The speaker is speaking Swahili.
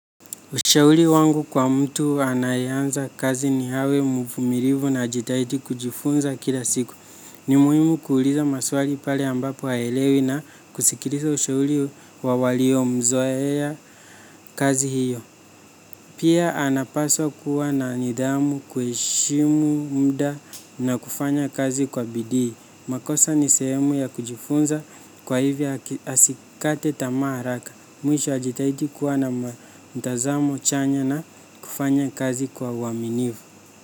Ushauri wangu kwa mtu anayeanza kazi ni awe mvumilivu na ajitahidi kujifunza kila siku. Ni muhimu kuuliza maswali pale ambapo haelewi na kusikiliza ushauri wa walio mzoea kazi hiyo. Pia anapaswa kuwa na nidhamu, kuheshimu muda na kufanya kazi kwa bidii. Makosa ni sehemu ya kujifunza kwa hivyo asikate tamaa haraka. Mwisho ajitahidi kuwa na mtazamo chanya na kufanya kazi kwa uaminifu.